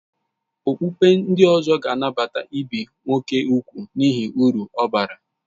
Okpukpe ndị ọzọ ga-anabata ibi úgwù nwoke n'ihi uru ọ bara